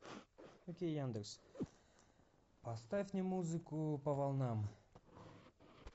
окей яндекс поставь мне музыку по волнам